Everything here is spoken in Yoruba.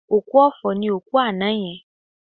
Òkú ọ̀fọ̀ ni òkú àná yẹn